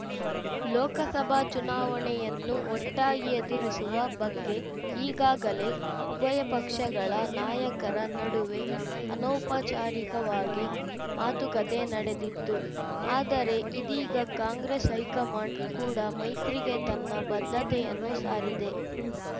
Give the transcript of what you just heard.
ಲೋಕಸಭಾ ಚುನಾವಣೆಯನ್ನು ಒಟ್ಟಾಗಿ ಎದುರಿಸುವ ಬಗ್ಗೆ ಈಗಾಗಲೇ ಉಭಯ ಪಕ್ಷಗಳ ನಾಯಕರ ನಡುವೆ ಅನೌಪಚಾರಿಕವಾಗಿ ಮಾತುಕತೆ ನಡೆದಿತ್ತು ಆದರೆ ಇದೀಗ ಕಾಂಗ್ರೆಸ್‌ ಹೈಕಮಾಂಡ್‌ ಕೂಡ ಮೈತ್ರಿಗೆ ತನ್ನ ಬದ್ಧತೆಯನ್ನು ಸಾರಿದೆ